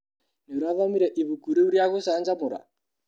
Nĩũrathomire ibuku rĩũ rĩa gũcanjamũra?